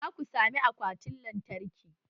Za ku sami akwatin lantarki?